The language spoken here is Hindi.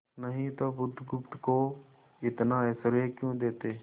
नहीं तो बुधगुप्त को इतना ऐश्वर्य क्यों देते